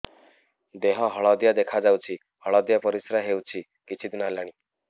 ଦେହ ହଳଦିଆ ଦେଖାଯାଉଛି ହଳଦିଆ ପରିଶ୍ରା ହେଉଛି କିଛିଦିନ ହେଲାଣି